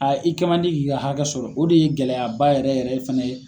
i kɛ man di k'i ka hakɛ sɔrɔ o de ye gɛlɛyaba yɛrɛ yɛrɛ fana ye.